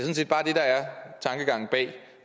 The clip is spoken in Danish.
tankegangen bag